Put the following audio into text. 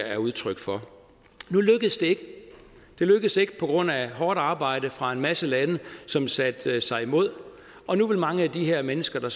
er udtryk for nu lykkedes det ikke det lykkedes ikke på grund af hårdt arbejde fra en masse lande som satte sig imod og nu vil mange af de her mennesker